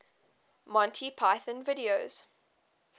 monty python videos